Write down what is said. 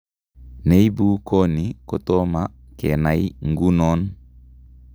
Neibu koni kotoma kenai ng'uunon